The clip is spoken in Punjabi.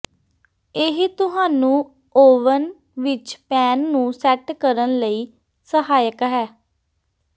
ਇਹ ਤੁਹਾਨੂੰ ਓਵਨ ਵਿਚ ਪੈਨ ਨੂੰ ਸੈੱਟ ਕਰਨ ਲਈ ਸਹਾਇਕ ਹੈ